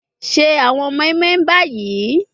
Se awọn moinmoin bayi